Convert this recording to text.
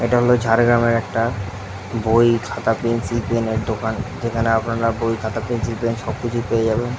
এটা হল ঝাড়গ্রামের একটা বই খাতা পেন্সিল পেন এর দোকান যেখানে আপনারা বই খাতা পেন্সিল পেন সবকিছু পেয়ে যাবেন।